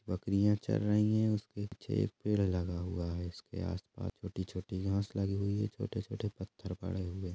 बकरियां चर रही है उसके पीछे एक पेड़ लगा हुआ है इसके आसपास छोटी-छोटी घास लगी हुई है छोटे-छोटे पत्थर पड़े हुए है।